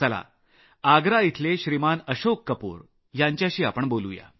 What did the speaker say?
या आग्रा इथले श्रीमान अशोक कपूर यांच्याशी आपण बोलू या